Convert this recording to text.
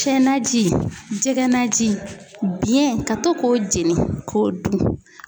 Tiyɛ naji jɛkɛ naji biɲɛ ka to k'o jeni k'o dun